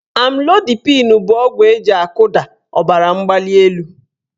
Amlodipịn bụ ọgwụ eji akụda ọbaramgbalịelu